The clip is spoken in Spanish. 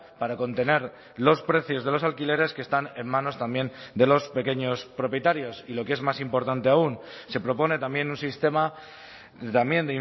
para contener los precios de los alquileres que están en manos también de los pequeños propietarios y lo que es más importante aun se propone también un sistema también